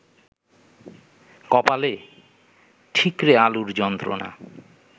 কপালে, ঠিকরে আলুর যন্ত্রণা